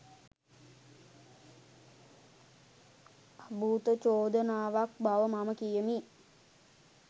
අභූත චෝදනාවක් බව මම කියමි.